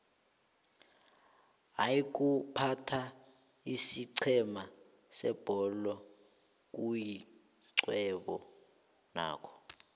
iykuphatha isiqhema sebholo kuyixhwebo nakho